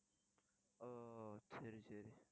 ஓ சரி சரி